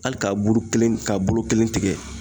Ali k'a buru kelen k'a bolo kelen tigɛ